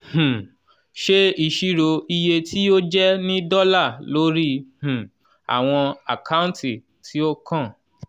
um ṣe isiro iye tí ó jẹ́ ní dọ́là lórí um àwọn àkáǹtì tí ó kàn